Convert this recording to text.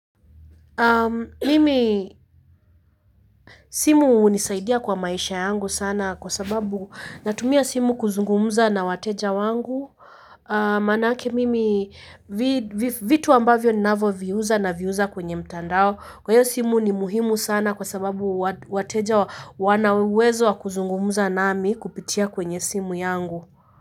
Mimi simu hunisaidia kwa maisha yangu sana kwa sababu natumia simu sana kuzungumza na wateja wangu maanake mimi vitu ambavyo ninavyoviuza naviuza kwenye mtandao kwa hiyo simu ni muhimu sana kwa sababu wateja wana uwezo wa kuzungumuza nami kupitia kwenye simu yangu. Kwa hiyo.